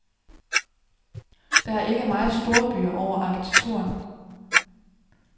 Der er ikke meget storby over arkitekturen.